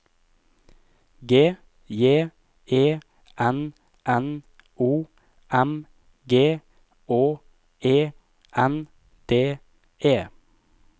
G J E N N O M G Å E N D E